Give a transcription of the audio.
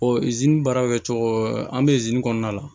baara bɛ kɛ cogo an bɛ kɔnɔna la